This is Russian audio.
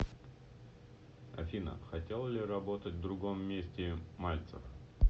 афина хотел ли работать в другом месте мальцев